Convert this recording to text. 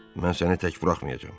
Mən səni tək buraxmayacam.